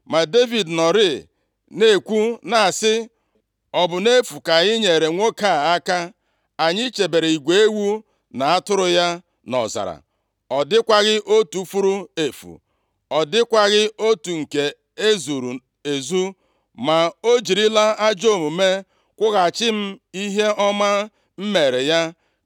ma Devid nọrịị na-ekwu na-asị, “Ọ bụ nʼefu ka anyị nyeere nwoke a aka. Anyị chebere igwe ewu na atụrụ ya nʼọzara; ọ dịkwaghị otu furu efu, ọ dịkwaghị otu nke e zuru ezu, ma o jirila ajọ omume kwụghachi m ihe ọma m meere ya.